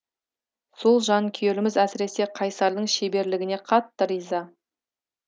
сол жанкүйеріміз әсіресе қайсардың шеберлігіне қатты риза